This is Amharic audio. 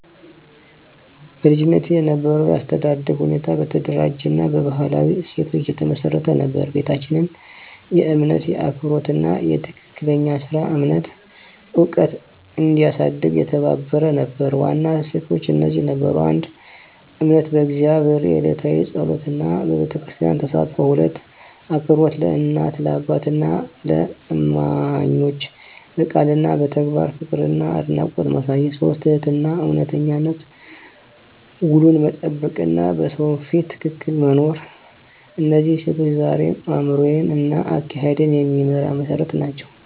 በልጅነቴ የነበረው የአስተዳደግ ሁኔታ በተደራጀ እና በባህላዊ እሴቶች የተመሰረተ ነበር። ቤታችን የእምነት፣ የአክብሮት እና የትክክለኛ ሥራ እምነት ዕውቀት እንዲያሳድግ የተባበረ ነበር። ዋና እሴቶች እነዚህ ነበሩ: 1. እምነት በእግዚአብሔር፣ የዕለታዊ ጸሎት እና በቤተክርስቲያን ተሳትፎ። 2. አክብሮት ለእናት፣ ለአባትና ለእማኞች፣ በቃል እና በተግባር ፍቅርና አድናቆት ማሳየት። 3. ትህትናና እውነተኝነት፣ ውሉን መጠበቅ እና በሰው ፊት ትክክል መኖር። እነዚህ እሴቶች ዛሬም አእምሮዬን እና አካሄዴን የሚመራ መሠረት ናቸው።